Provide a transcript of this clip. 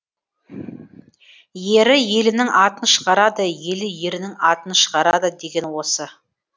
ері елінің атын шығарады елі ерінің атын шығарады деген осы